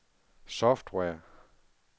software